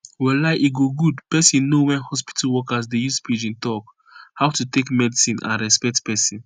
walai e go good pesin know wen hospitol workers dey use pidgin talk how to take medicine and respect pesin